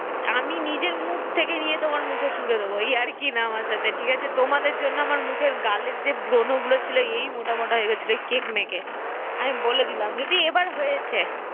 তোকে ওই রকম করে ফটো তোলা করাবো আমি নিজের মুখ থেকে নিয়ে তোমার মুখে ছুঁড়ে দেব ইয়ার্কি না আমার সাথে ঠিক আছে তোমাদের জন্য আমার মুখের গালের যে ব্রণ গুলো ছিল এই মোটা মোটা হয়ে গিয়েছিলো ওই কেক মেখে আমি বলে দিলাম যদি এবার হয়েছে